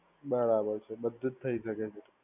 બરાબર છે. બધુજ થઇ શકે છે.